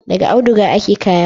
Da auduga ake kaya.